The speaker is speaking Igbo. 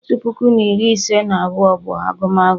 Otu puku na iri ise na abụọ bụ agumagu